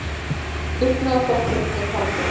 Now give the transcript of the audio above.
Dugnaðarforkurinn hét Halldór.